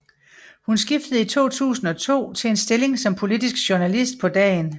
Hun skiftede i 2002 til en stilling som politisk journalist på Dagen